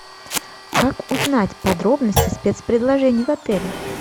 как узнать подробности спецпредложений в отеле